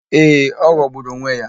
Ee, ọ ghọgburu onwe ya.